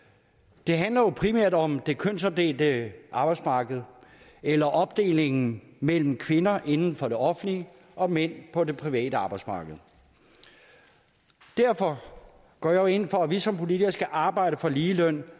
det handler jo primært om det kønsopdelte arbejdsmarked eller opdelingen mellem kvinder inden for det offentlige og mænd på det private arbejdsmarked derfor går jeg jo ind for at vi som politikere skal arbejde for ligeløn ved